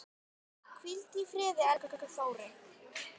Hvíldu í friði, elsku Þórey.